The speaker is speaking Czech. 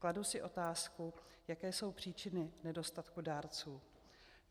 Kladu si otázku, jaké jsou příčiny nedostatku dárců.